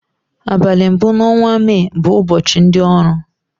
Abali mbu na ọnwa may bu ụbọchi ndi ọrụ